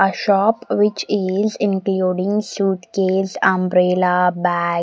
a shop which is including suitcase umbrella bat --